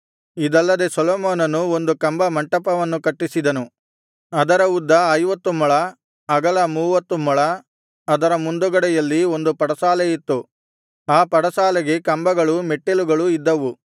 ಇದಲ್ಲದೆ ಸೊಲೊಮೋನನು ಒಂದು ಕಂಬ ಮಂಟಪವನ್ನು ಕಟ್ಟಿಸಿದನು ಅದರ ಉದ್ದ ಐವತ್ತು ಮೊಳ ಅಗಲ ಮೂವತ್ತು ಮೊಳ ಅದರ ಮುಂದುಗಡೆಯಲ್ಲಿ ಒಂದು ಪಡಸಾಲೆಯಿತ್ತು ಆ ಪಡಸಾಲೆಗೆ ಕಂಬಗಳೂ ಮೆಟ್ಟಲುಗಳೂ ಇದ್ದವು